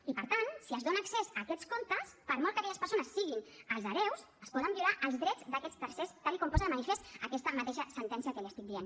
i per tant si es dona accés a aquests comptes per molt que aquelles persones siguin els hereus es poden violar els drets d’aquests tercers tal com posa de manifest aquesta mateixa sentència que li estic dient